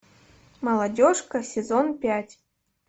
молодежка сезон пять